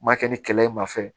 N m'a kɛ ni kɛlɛ ye ma fɛn